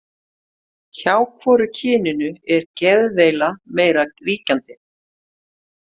Hjá hvoru kyninu er geðveila meira ríkjandi?